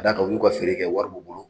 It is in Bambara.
Ka d'a kan u yu ka feere kɛ wari b'u bolo.